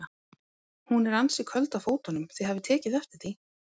Hún er ansi köld á fótunum, þið hafið tekið eftir því?